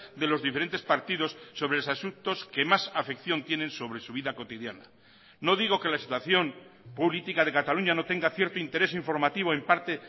de los diferentes partidos sobre los asuntos que más afección tienen sobre su vida cotidiana no digo que la situación política de cataluña no tenga cierto interés informativo en parte